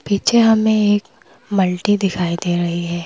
पीछे हमें एक मल्टी दिखाई दे रही है।